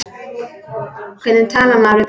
Hvernig talar maður við barn?